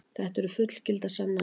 Þetta eru fullgildar sannanir.